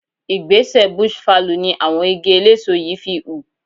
Igbẹ́sẹ̀ bush fallow in àwọn igi eléso yìí fi hù.